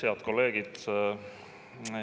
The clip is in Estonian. Head kolleegid!